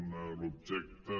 una l’objecte